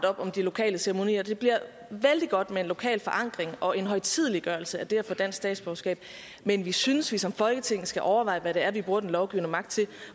om de lokale ceremonier det bliver vældig godt med en lokal forankring og en højtideligholdelse af det at få dansk statsborgerskab men vi synes vi som folketing skal overveje hvad det er vi bruger den lovgivende magt til